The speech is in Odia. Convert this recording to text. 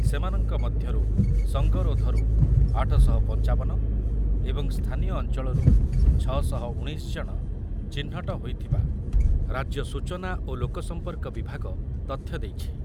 ସେମାନଙ୍କ ମଧ୍ୟରୁ ସଂଗରୋଧରୁ ଆଠ ଶହ ପଞ୍ଚାବନ ଏବଂ ସ୍ଥାନୀୟ ଅଞ୍ଚଳରୁ ଛ ଶହ ଉଣେଇଶ ଜଣ ଚିହ୍ନଟ ହୋଇଥିବା ରାଜ୍ୟ ସୂଚନା ଓ ଲୋକସମ୍ପର୍କ ବିଭାଗ ତଥ୍ୟ ଦେଇଛି।